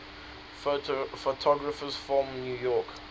photographers from new york